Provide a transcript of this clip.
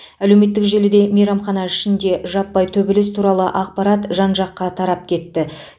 әлеуметтік желіде мейрамхана ішінде жаппай төбелес туралы ақпарат жан жаққа тарап кетті